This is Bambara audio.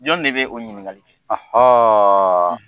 Jɔn de bɛ o ɲininkali kɛ;